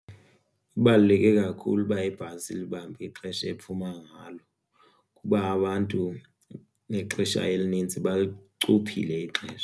Kubaluleke kakhulu uba ibhasi ilibambe ixesha ephuma ngalo kuba abantu ixesha elinintsi balicuphile ixesha.